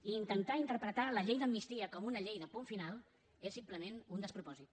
i intentar interpretar la llei d’amnistia com una llei de punt final és simplement un despropòsit